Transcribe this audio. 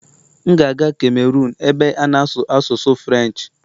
M ga-aga Cameron ebe a na-asụ asụsụ Firench